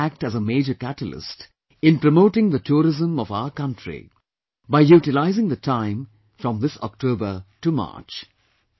You can also act as a major catalyst in promoting the tourism of our country by utilizing the time from this October to March